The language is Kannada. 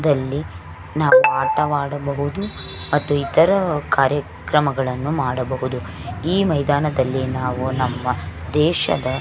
ದಲ್ಲಿ ನಾವು ಆಟವಾಡಬಹುದು ಮತ್ತು ಇತರ ಕಾರ್ಯಕ್ರಮಗಳನ್ನು ಮಾಡಬಹುದು ಈ ಮೈದಾನದಲ್ಲಿ ನಾವು ನಮ್ಮ ದೇಶದ --